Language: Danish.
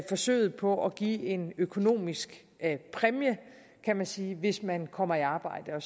forsøget på at give en økonomisk præmie kan man sige hvis man kommer i arbejde og